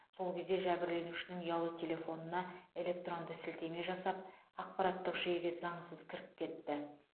сол кезде жәбірленушінің ұялы телефонына электронды сілтеме жасап ақпараттық жүйеге заңсыз кіріп кетті